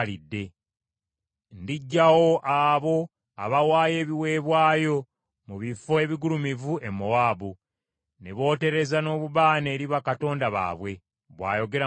Ndiggyawo abo abawaayo ebiweebwayo mu bifo ebigulumivu e Mowaabu, ne bootereza n’obubaane eri bakatonda baabwe,” bw’ayogera Mukama Katonda.